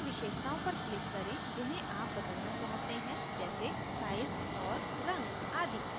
उन विशेषताओं पर click करें जिन्हे आप बदलना चाहते हैं जैसे size और रंग आदि